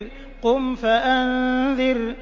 قُمْ فَأَنذِرْ